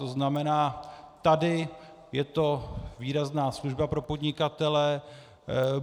To znamená, tady je to výrazná služba pro podnikatele.